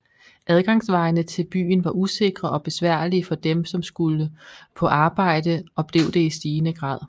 Adgangsvejene til byen var usikre og besværlige for dem som skulle på arbejde og blev det i stigende grad